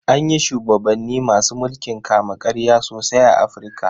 An yi shubabanni masu mulkin kama-karya sosai a Afirka.